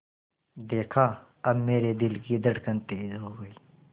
देखा अब मेरे दिल की धड़कन तेज़ हो गई